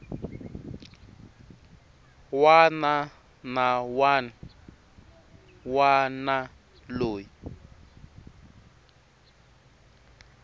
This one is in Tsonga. wana na wun wana loyi